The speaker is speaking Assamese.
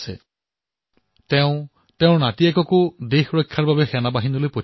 তেওঁ কৈছে যে নিজৰ নাতিকো দেশৰ ৰজাৰ বাবে সেনালৈ প্ৰেৰণ কৰিব